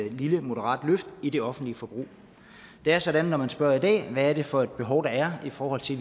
et lille moderat løft i det offentlige forbrug det er sådan når man spørger i dag hvad det er for et behov der er i forhold til